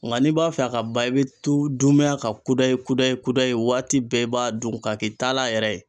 N ka n'i b'a fɛ a ka ban i bɛ to dunmɛn a kan kudayi kudayi kudayi waati bɛɛ i b'a dun ka k'i taala yɛrɛ ye.